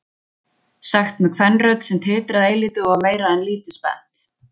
Sagt með kvenrödd sem titraði eilítið og var meira en lítið spennt.